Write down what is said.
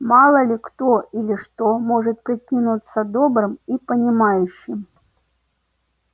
мало ли кто или что может прикинуться добрым и понимающим